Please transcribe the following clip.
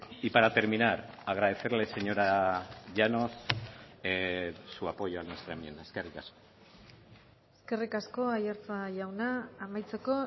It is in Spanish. y para terminar agradecerle señora llanos su apoyo a nuestra enmienda eskerrik asko eskerrik asko aiartza jauna amaitzeko